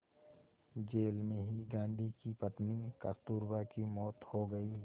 jail में ही गांधी की पत्नी कस्तूरबा की मौत हो गई